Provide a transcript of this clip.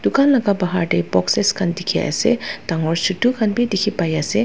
tokan laga bahar tey boxes khan dekhe ase dangor chutu khan beh dekhe pai ase.